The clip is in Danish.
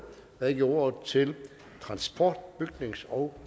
og jeg giver ordet til transport bygnings og